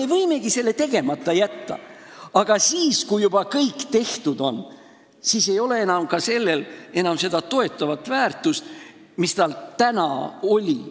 Me võimegi selle tegemata jätta, aga siis, kui juba kõik tehtud on, ei ole sellel enam seda toetavat väärtust, mis tal täna oleks.